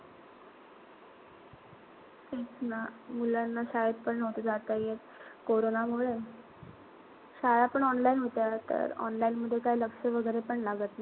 तेच ना. मुलांना शाळेत पण नव्हतं जात येत. कोरोनामुळे, शाळा पण online होत्या. तर online मध्ये काई लक्ष वगैरे पण लागत नाही.